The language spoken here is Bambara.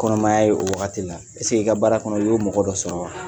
Kɔnɔmaya ye o wagati la i ka baara kɔnɔ? i y'o mɔgɔ dɔ sɔrɔ wa ?